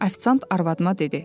Ofisiant arvadıma dedi.